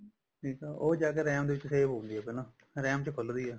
ਠੀਕ ਆ ਉਹ ਜਾ RAM ਦੇ ਵਿੱਚ save ਹੁੰਦੀ ਆ ਪਹਿਲਾਂ RAM ਚ ਖੁੱਲਦੀ ਆ